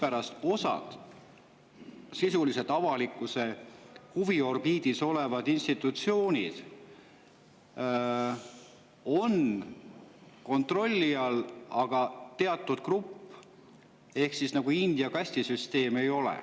Seega, ma ei saa aru, miks osa avalikkuse huviorbiidis olevaid institutsioone on sisuliselt kontrolli all, aga teatud grupp ei ole – nagu India kastisüsteem.